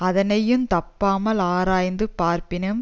அதனையுந் தப்பாமலாராய்ந்து பார்ப்பினும்